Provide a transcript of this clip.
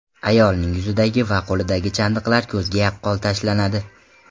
Ayolning yuzidagi va qo‘lidagi chandiqlar ko‘zga yaqqol tashlanadi.